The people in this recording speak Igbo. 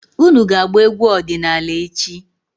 Unu ga-agba egwu ọdịnaala echi!